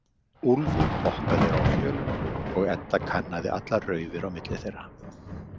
Úlfur hoppaði á fjölunum og Edda kannaði allar raufir á milli þeirra.